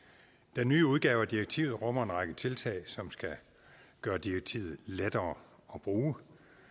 den nye udgave af direktivet rummer en række tiltag som skal gøre direktivet lettere at bruge